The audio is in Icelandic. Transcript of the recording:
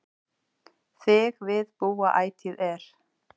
Þig við búa ætíð er